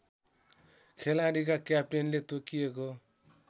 खेलाडीका क्याप्टेनले तोकिएको